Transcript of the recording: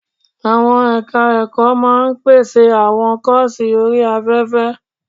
Àwọn ẹ̀ka ẹ̀kọ́ máa pèsè àwọn kọ́ọ̀sì orí afẹ́fẹ́.